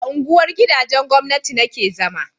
a unguwar gidajen gwamnati na ke zama